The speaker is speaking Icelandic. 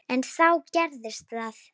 En þá gerðist það.